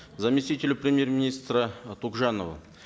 заместителю премьер министра э тугжанову